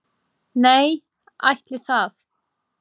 """Nei, ætli það."""